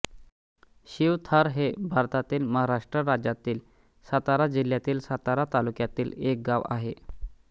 शिवथर हे भारतातील महाराष्ट्र राज्यातील सातारा जिल्ह्यातील सातारा तालुक्यातील एक गाव आहे